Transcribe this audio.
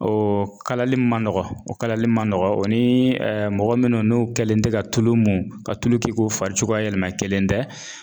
O kalali man nɔgɔn o kalali ma nɔgɔn o ni mɔgɔ minnu n'u kɛlen tɛ ka tulu mun ka tulu k'i k'u fari cogoya yɛlɛma kelen tɛ